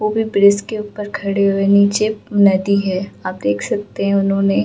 वो भी ब्रिज के ऊपर खड़े हुए नीचे नदी है आप देख सकते हैं उन्होंने --